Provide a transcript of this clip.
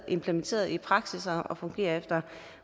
implementeret i praksis og fungerer efter